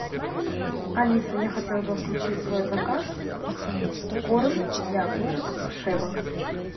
алиса я хотела бы включить в свой заказ корм для кошек шеба